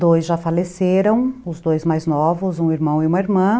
Dois já faleceram, os dois mais novos, um irmão e uma irmã.